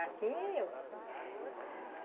Assim é eu.